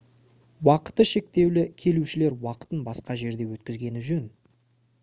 уақыты шектеулі келушілер уақытын басқа жерде өткізгені жөн